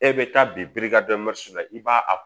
E bɛ taa birikada la i b'a a